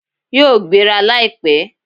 Yíò gbéra láìpẹ́